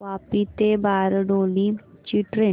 वापी ते बारडोली ची ट्रेन